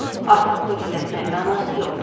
Artıq bunu gizlətməyə mənası yoxdur.